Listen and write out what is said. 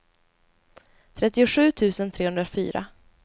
trettiosju tusen trehundrafyra